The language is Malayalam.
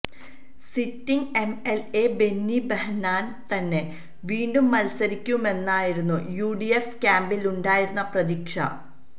സിറ്റിങ്ങ് എംഎല്എ ബെന്നി ബെഹനാന് തന്നെ വീണ്ടും മത്സരിക്കുമെന്നായിരുന്നു യുഡിഎഫ് ക്യാമ്പിലുണ്ടായിരുന്ന പ്രതീക്ഷ